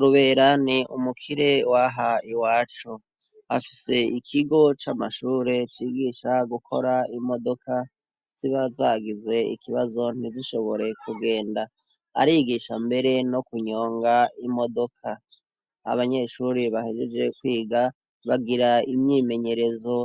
Rubera ni umukire waha i wacu afise ikigo c'amashure cigisha gukora imodoka siba zagize ikibazo ntizishobore kugenda arigisha mbere no kunyonga imodoka abanyeshuri bahejeje kwiga bagira imyimenye rezo